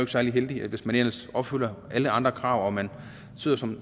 særlig heldigt hvis man ellers opfylder alle andre krav og man sidder som